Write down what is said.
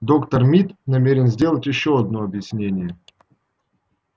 доктор мид намерен сделать ещё одно объяснение